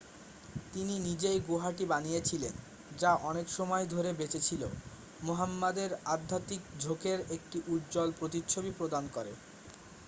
তিনি নিজেই গুহাটি বানিয়েছিলেন যা অনেকসময় ধরে বেঁচে ছিল মুহাম্মদের আধ্যাত্মিক ঝোঁকের একটি উজ্জ্বল প্রতিচ্ছবি প্রদান করে